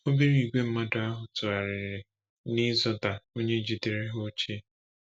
Obere ìgwè mmadụ ahụ tụgharịrị n’ “ịzọda” onye jidere ha ochie.